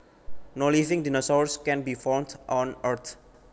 No living dinosaurs can be found on Earth